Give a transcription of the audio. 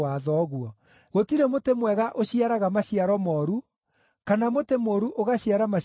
“Gũtirĩ mũtĩ mwega ũciaraga maciaro mooru, kana mũtĩ mũũru ũgaciara maciaro mega.